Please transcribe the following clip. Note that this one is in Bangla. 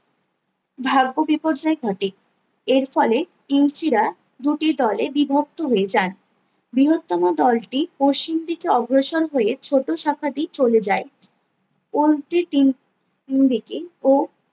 ভাগ্য বিপর্যয় ঘটে এরফলে রা দুটি দলে বিভক্ত হয়ে যান বৃহত্তম দলটি পশ্চিমদিকে অগ্রসর হয়ে ছোটো শাখাটি চলে যায় ও তিন দিকে ও